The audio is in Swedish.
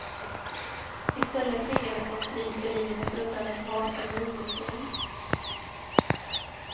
I stället tvingades de fly för livet undan ett rasande ungdomsgäng.